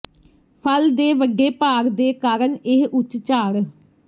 ਫਲ ਦੇ ਵੱਡੇ ਭਾਰ ਦੇ ਕਾਰਨ ਇਹ ਉੱਚ ਝਾੜ